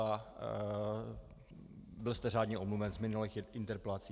Byl jste řádně omluven z minulých interpelací.